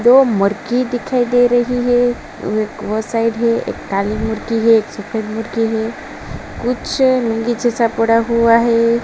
दो मुरकी दिखाई दे रही हैं। वो साइड है। एक काली मुरकी है। एक सफ़ेद मुरकी हैं। कुछ नीचे सा पड़ा हुआ है।